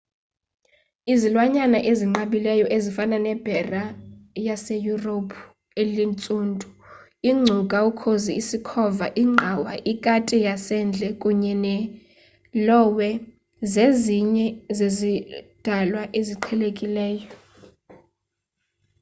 izilwanyana ezinqabileyo ezifana nebhere laseyurophu elintsundu iingcuka ukhozi isikhova ingqawa ikati yasendle kunye ne-lowe zezinye zezidalwa eziqhelekileyo